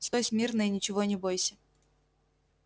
стой смирно и ничего не бойся